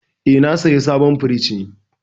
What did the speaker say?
Eh, na saya sabon firinj ne.